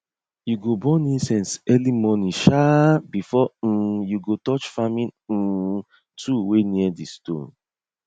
you go burn incense early morning um before um you touch farming um tool wey near di stone